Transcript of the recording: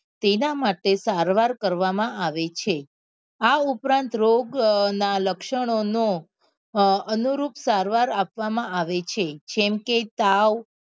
તેના માટે સારવાર કરવા માં આવે છે આ ઉપરાંત રોગ અ નાં લક્ષણો નું અનુરૂપ સારવાર આપવા માં આવે છે જેમ કે તાવ